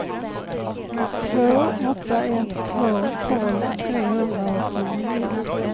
två åtta ett två tolv trehundraåttionio